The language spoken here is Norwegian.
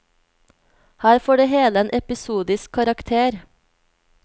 Her får det hele en episodisk karakter.